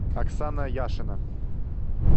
оксана яшина